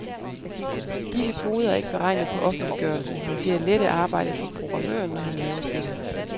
Disse koder er ikke beregnet på offentliggørelse, men til at lette arbejdet for programmøren når han laver spillet.